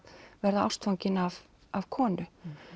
verða ástfanginn af konu